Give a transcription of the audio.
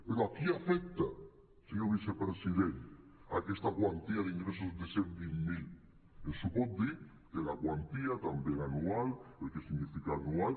però a qui afecta senyor vicepresident aquesta quantia d’ingressos de cent vint mil ens ho pot dir que la quantia també l’anual el que significa anual